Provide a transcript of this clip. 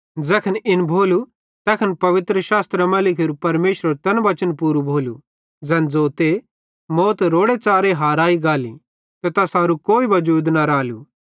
ज़ैखन इन भोलू तैखन पवित्रशास्त्रे मां लिखोरू परमेशरेरू तैन वचन पूरू भोलू ज़ैन ज़ोते मौत रोड़े च़ारे हाराई गाली ते तैसेरू कोई वजूद न रालू